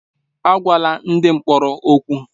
Agwala ndị mkpọrọ okwu!